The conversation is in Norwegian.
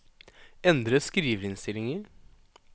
endre skriverinnstillinger